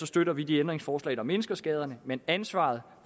støtter vi de ændringsforslag der mindsker skaderne men ansvaret